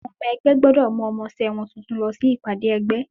Àwọn ọmọ ẹgbẹ́ gbọ́dọ̀ mú ọmọṣé wọn tuntun lọ sí Ìpàdé ẹgbé.